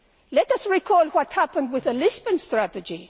Let us recall what happened with the Lisbon strategy